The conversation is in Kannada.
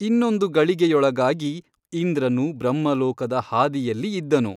ಇನ್ನೊಂದು ಗಳಿಗೆಯೊಳಗಾಗಿ ಇಂದ್ರನು ಬ್ರಹ್ಮಲೋಕದ ಹಾದಿಯಲ್ಲಿ ಇದ್ದನು.